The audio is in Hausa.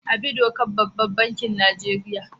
Abi dokar babban bankin Nigeria.